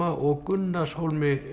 og